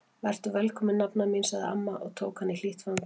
Vertu velkomin nafna mín sagði amma og tók hana í hlýtt fangið.